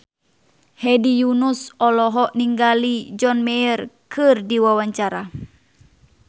Hedi Yunus olohok ningali John Mayer keur diwawancara